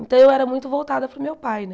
Então, eu era muito voltada para o meu pai, né?